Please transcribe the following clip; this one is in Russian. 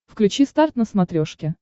включи старт на смотрешке